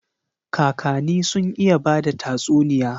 Kakani sun iya bada tatsuniya.